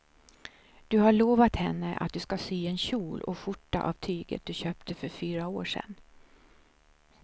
Du har lovat henne att du ska sy en kjol och skjorta av tyget du köpte för fyra år sedan.